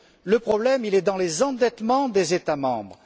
Le problème, il est dans les endettements des États membres.